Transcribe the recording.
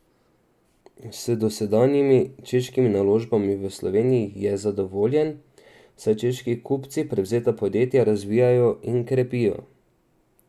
S dosedanjimi češkimi naložbami v Sloveniji je zadovoljen, saj češki kupci prevzeta podjetja razvijajo in krepijo.